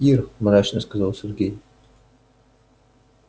ир мрачно сказал сергей